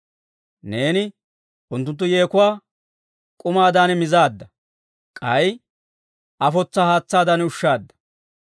Neeni unttuntta yeekuwaa k'umaadan mizaadda; k'ay afotsaa haatsaadan ushshaadda.